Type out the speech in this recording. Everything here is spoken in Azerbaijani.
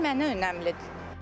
Qiymət mənə önəmlidir.